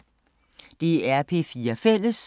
DR P4 Fælles